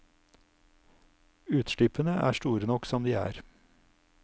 Utslippene er store nok som de er.